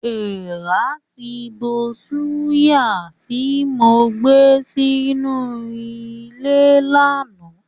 Èràn ti bo ṣùgà tí mo gbé sí inú ilé lánàá.